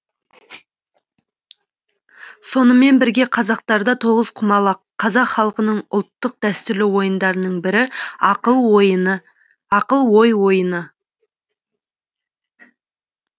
сонымен бірге қазақтарда тоғызқұмалақ қазақ халқының ұлттық дәстүрлі ойындарының бірі ақыл ой ойыны